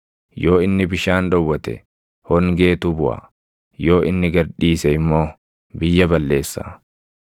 Yoo inni bishaan dhowwate, hongeetu buʼa; yoo inni gad dhiise immoo biyya balleessa.